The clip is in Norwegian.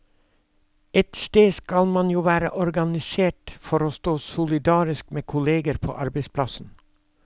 Et sted skal man jo være organisert for å stå solidarisk med kolleger på arbeidsplassen.